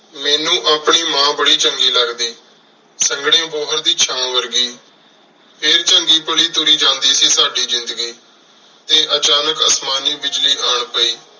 ਮੇਨੂ ਆਪਣੀ ਮਾਂ ਬਾਰੀ ਚੰਗੀ ਲਗਦੀ ਸੰਘਣੀ ਬੋਹਰ ਦੀ ਚਾਨ ਵਰਗੀ ਫੇਰ ਚੰਗੀ ਪਾਲੀ ਤੁਰੀ ਜਾਂਦੀ ਸੀ ਸਾਡੀ ਜ਼ਿੰਦਗੀ ਫੇਰ ਅਚਾਨਕ ਅਸਮਾਨੀ ਬਿਜਲੀ ਆਂ ਪੈ